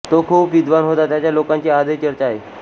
तो खूप विद्वान होता त्याच्या लोकांची आजही चर्चा आहे